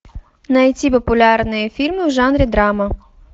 найти популярные фильмы в жанре драма